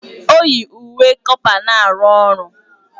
O yi uwe kọpa na-arụ ọrụ